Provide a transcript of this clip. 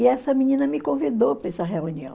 E essa menina me convidou para essa reunião.